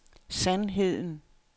sandheden